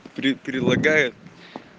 при прилагает